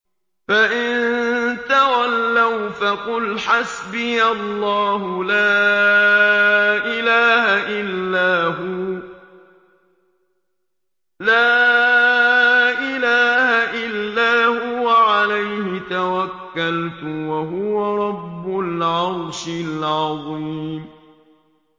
فَإِن تَوَلَّوْا فَقُلْ حَسْبِيَ اللَّهُ لَا إِلَٰهَ إِلَّا هُوَ ۖ عَلَيْهِ تَوَكَّلْتُ ۖ وَهُوَ رَبُّ الْعَرْشِ الْعَظِيمِ